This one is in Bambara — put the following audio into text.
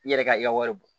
I yɛrɛ ka i ka wari bɔ